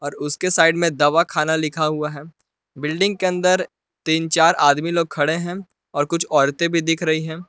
और उसके साइड में दवाखाना लिखा हुआ है बिल्डिंग के अंदर तीन चार आदमी लोग खड़े हैं और कुछ औरतें भी दिख रही हैं।